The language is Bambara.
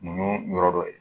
Mun yɔrɔ dɔ ye